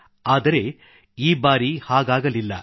ಆದರೆ ಈ ಬಾರಿ ಹಾಗಾಗಲಿಲ್ಲ